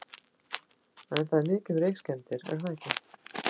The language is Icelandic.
En það er mikið um reykskemmdir er það ekki?